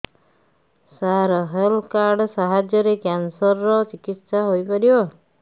ସାର health card ସାହାଯ୍ୟରେ cancer ର ଚିକିତ୍ସା ହେଇପାରିବ